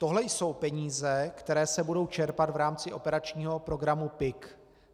Tohle jsou peníze, které se budou čerpat v rámci operačního programu PIK.